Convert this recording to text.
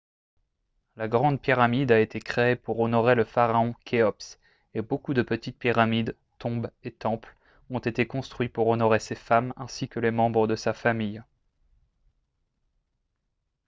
la grande pyramide a été créée pour honorer le pharaon khéops et beaucoup de petites pyramides tombes et temples ont été construits pour honorer ses femmes ainsi que les membres de sa famille